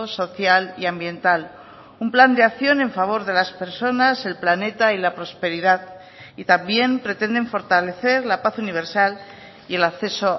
social y ambiental un plan de acción en favor de las personas el planeta y la prosperidad y también pretenden fortalecer la paz universal y el acceso